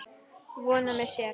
Vona með sér.